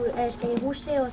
í húsi og